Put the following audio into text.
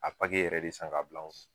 A yɛrɛ de san k'a bil'anw f